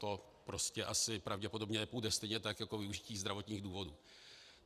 To prostě asi pravděpodobně nepůjde stejně tak jako využití zdravotních důvodů.